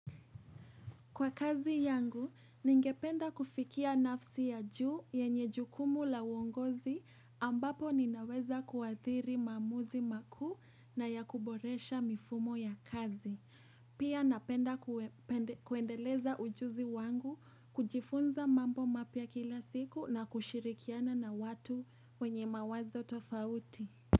Kwa kazi yangu, ningependa kufikia nafsi ya juu yenye jukumu la uongozi ambapo ninaweza kuathiri maamuzi makuu na ya kuboresha mifumo ya kazi. Pia napenda kuendeleza ujuzi wangu kujifunza mambo mapya kila siku na kushirikiana na watu wenye mawazo tofauti.